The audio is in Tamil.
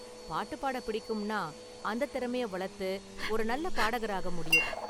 பாட்டு பாட பிடிக்கும்ன்னா, அந்தத் திறமையை வளர்த்து ஒரு நல்ல பாடகராக முடியும்.